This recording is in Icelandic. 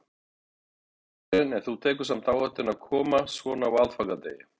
Karen: En þú tekur samt áhættuna að koma svona á aðfangadegi?